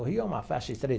O Rio é uma faixa estreita.